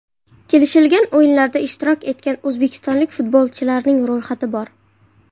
Kelishilgan o‘yinlarda ishtirok etgan o‘zbekistonlik futbolchilarning ro‘yxati bor!